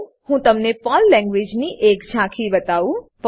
ચાલો હું તમને પર્લ પર્લ લેંગવેજની એક ઝાંખી બતાવું